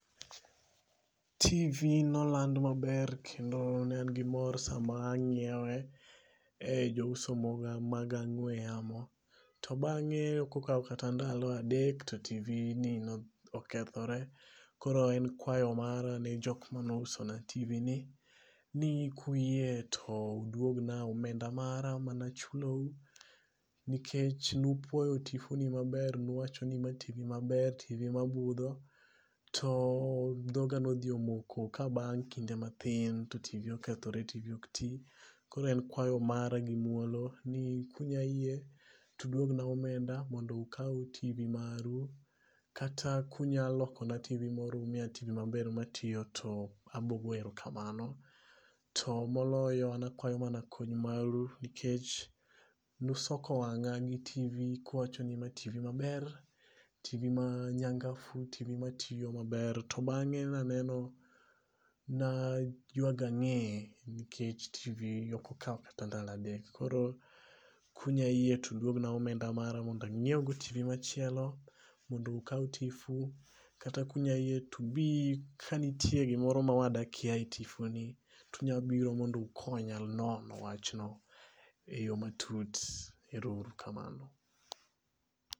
TV noland maber kendo ne an gi mor sama ang'iewe e jouso moko mag ong'we yamo. To bang'e ok okaw kata ndalo adek to TV ni nokethore. Koro e kwayo mara ne jok mane ousa na TV ni kuyie to udwogna omenda mara mane achulou. Nikech nupuoyo tipo ni maber nuwacho ni ma TV maber, TV mabudho. To dhoga nodhi omoko ka bang' kinde mathin to TV okethore TV ok ti. Koro en kwayo mara gi muplo ni kunya yie tu duogna omenda mondo okaw TV maru. Kata kunyalokona TV moro umiya TV maber matiyo abro goyo erokamano. To moloyo ana akwayo mana kony maru nikech nusoko wang'a gi TV kuwacho ni ma TV maber. TV ma nyangafu. TV matiyo meber. To bang'e naneno na ayuag ang'e nikech TV ok okaw kata ndalo adek. Koro kunya yie tuduogna omenda mara mondo ang'iew go TV machielo machielo mondo ukaw Tifu. Kata kunya yie tubi kanitie gimoro ma wad akia e tifu ni tunyabiro mondo ukanya nono wach ni e yo matut. Ero uru kamano.